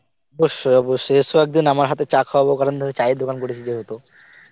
অবশ্যই অবশ্যই এস একদিন আমার হাতের চা কাওয়াব কারণ ধর চায়ের দোকান করেছি যেহেতু